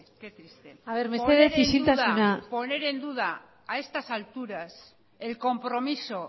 qué triste a ver mesedez isiltasuna poner en duda a estas alturas el compromiso